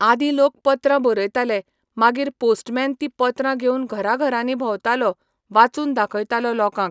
आदीं लोक पत्रां बरयताले मागीर पोस्टमॅन तीं पत्रां घेवन घरां घरांनी भोंवतालो वाचून दाखयतालो लोकांक